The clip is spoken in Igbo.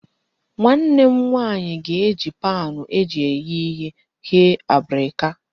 Nwanne m nwaanyị ga-eji paanụ eji eghe ihe ghee abrika